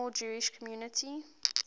small jewish community